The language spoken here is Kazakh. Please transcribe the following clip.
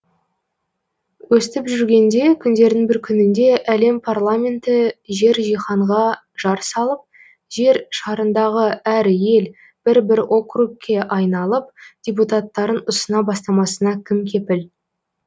өстіп жүргенде күндердің бір күнінде әлем парламенті жер жиһанға жар салып жер шарындағы әр ел бір бір округке айналып депутаттарын ұсына бастамасына кім кепіл